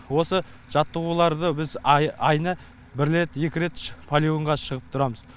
осы жаттығуларды біз айына бір лет екі рет полигонға шығып тұрамыз